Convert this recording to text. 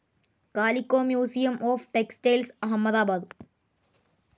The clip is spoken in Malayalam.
calico museum of textiles Ahmedabad